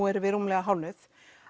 erum við rúmlega hálfnuð